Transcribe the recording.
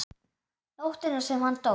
Nóttina sem hann dó?